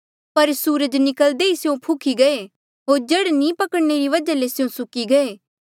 पर सूरज निकल्दे ही स्यों फुख्ही गये होर जड़ नी पकड़णे री वजहा ले स्यों सुक्की गये